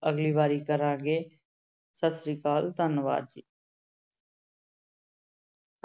ਅਗਲੀ ਵਾਰੀ ਕਰਾਂਗੇ, ਸਤਿ ਸ੍ਰੀ ਅਕਾਲ, ਧੰਨਵਾਦ ਜੀ।